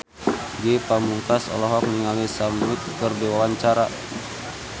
Ge Pamungkas olohok ningali Sam Smith keur diwawancara